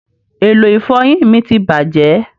èló ifoyin mí tí bàjé